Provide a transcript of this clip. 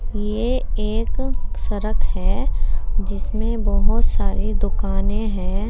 ये एक सरक है जिसमें बहुत सारी दुकाने हैं।